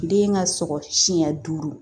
Den ka sɔgɔ siɲɛ duuru